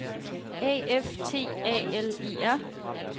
A F T A L E R